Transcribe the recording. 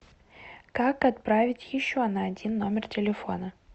как отправить еще на один номер телефона